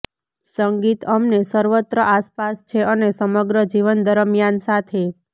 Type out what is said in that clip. સંગીત અમને સર્વત્ર આસપાસ છે અને સમગ્ર જીવન દરમિયાન સાથે